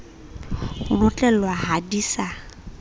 ho notlellwa ha di sa